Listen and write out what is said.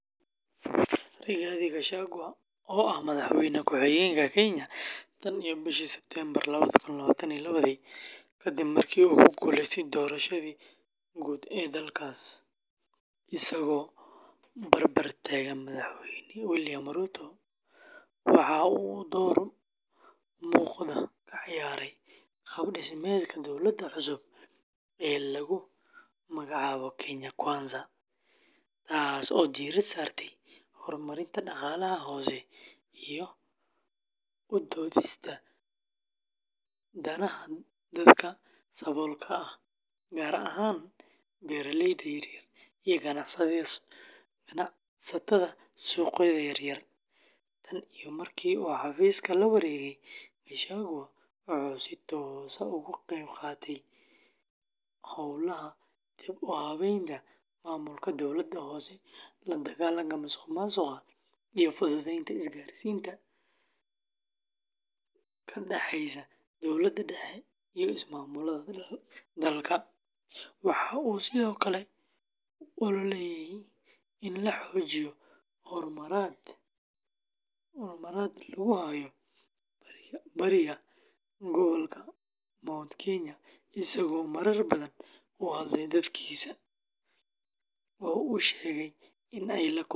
Rigathi Gachagua, oo ah Madaxweyne ku xigeenka Kenya tan iyo bishii Sebtembar lawada kun lawaatan iyo lawadii kadib markii uu ku guuleystay doorashadii guud ee dalkaas, isagoo barbar taagan Madaxweyne William Ruto, waxa uu door muuqda ka ciyaaray qaab-dhismeedka dowladda cusub ee lagu magacaabo “Kenya Kwanza,” taasoo diiradda saartay horumarinta dhaqaalaha hoose iyo u doodista danaha dadka saboolka ah, gaar ahaan beeraleyda yaryar iyo ganacsatada suuqyada yar yar. Tan iyo markii uu xafiiska la wareegay, Gachagua wuxuu si toos ah uga qaybqaatay howlaha dib-u-habaynta maamulka dowladda hoose, la dagaalanka musuqmaasuqa, iyo fududeynta isgaarsiinta ka dhaxeysa dowladda dhexe iyo ismaamullada dalka. Waxa uu sidoo kale u ololeeyay in la xoojiyo xurmada lagu hayo bariga gobolka Mount Kenya, isagoo marar badan u hadlay dadkiisa oo uu sheegay inay la kulmeen takoor siyaasadeed.